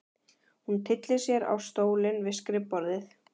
Hún tyllir sér á stólinn við skrifborðið.